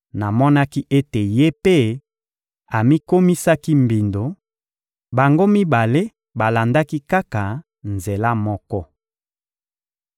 Namonaki ete ye mpe amikomisaki mbindo: bango mibale balandaki kaka nzela moko.